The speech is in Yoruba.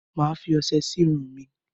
Mà á fi ọṣe sí irun mi.